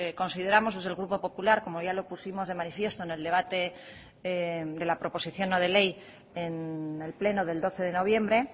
consideramos desde el grupo popular como ya lo pusimos de manifiesto en el debate de la proposición no de ley en el pleno del doce de noviembre